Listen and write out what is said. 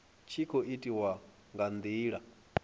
tshi khou itiwa nga ndila